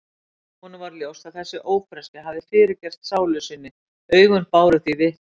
Honum varð ljóst að þessi ófreskja hafði fyrirgert sálu sinni, augun báru því vitni.